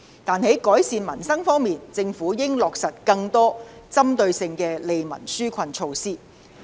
但是，在改善民生方面，政府應落實更多具針對性的利民紓困措施。